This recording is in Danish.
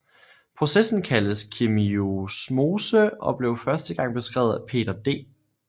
Processen kaldes kemiosmose og blev første gang beskrevet af Peter D